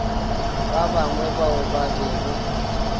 ba bangwe bao ba bego